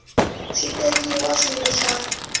swi tekiwa swi ri swa